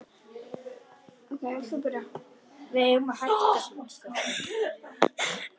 Það er hún viss um.